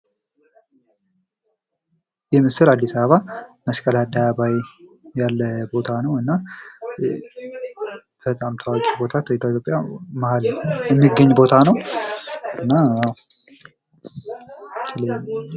ይህ ምስል አዲስ አበባ መስቀል አደባባይ ያለ ቦታ ነው። እና በጣም ታዋቂ ቦታ ከኢትዮጵያ መሃል የሚገኝ ቦታ ነው። እና